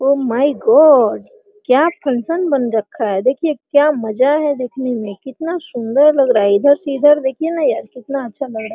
O my God क्या function बन रखा है देखिए क्या मजा है देखने मे कितना सुन्दर लग रहा है इधर से इधर देखिए ना यार कितना अच्छा लग रहा है ।